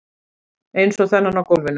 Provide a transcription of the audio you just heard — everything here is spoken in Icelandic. Eins og þennan á gólfinu.